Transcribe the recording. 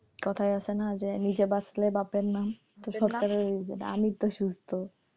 কোথায় আছে না যে নিজে বাঁচলে বাপের নাম সরকারেরও ওই যেটা আমিতো সুস্থ,